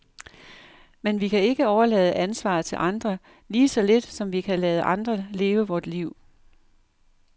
Men vi kan ikke overlade ansvaret til andre, lige så lidt som vi kan lade andre leve vort liv.